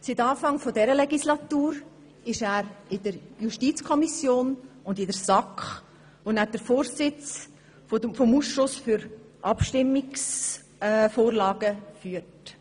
Seit Beginn dieser Legislatur ist er Mitglied der JuKo und der SAK, wo er den Vorsitz des Ausschusses für Abstimmungsvorla gen führt.